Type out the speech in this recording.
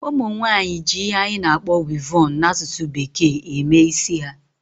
Ụmụnwaanyị ji ihe anyị na-akpọ "weavon" n'asụsụ bekee eme isi ha